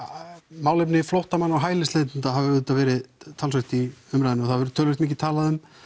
málefni flóttamanna og hælisleitanda hafa auðvitað verið talsvert í umræðunni og það hefur verið töluvert mikið talað um